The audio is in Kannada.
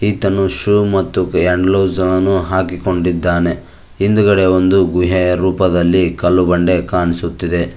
ಈತನು ಶೂ ಮತ್ತು ಹ್ಯಾಂಡ್ ಗ್ಲೊಸ್ ಅನ್ನು ಹಾಕಿಕೊಂಡಿದ್ದಾನೆ ಹಿಂದಗಡೆ ಒಂದು ಗುಹೆಯ ರೂಪದಲ್ಲಿ ಕಲ್ಲು ಬಂಡೆ ಕಾಣಿಸುತ್ತಿದೆ.